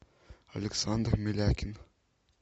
александр милякин